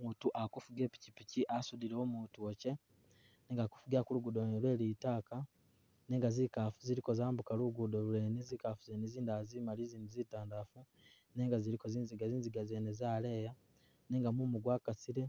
Umutu akufuga ipikyipikyi asudile umutu wakye nenga akufugila kulugudo lwene lwe litaaka nenga zikafu ziliko zambuka lugudo lwene zikafu zene zindala zi’mali inzidi zitandalafu nenga ziliko zinziga, zinziga zene zaleya nenga mumu gwakasile